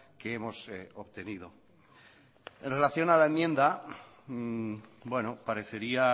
que hemos obtenido en relación a la enmienda parecería